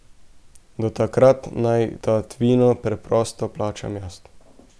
Do takrat naj tatvino preprosto plačam jaz.